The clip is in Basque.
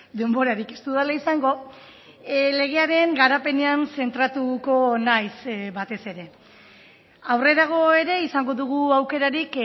denborarik ez dudala izango legearen garapenean zentratuko naiz batez ere aurrerago ere izango dugu aukerarik